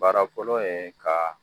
Baarakolo ye ka